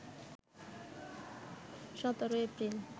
১৭ April